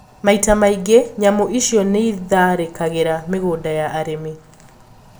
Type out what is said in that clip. Maita maingi nyamũ icio niitharikagira migunda ya arimi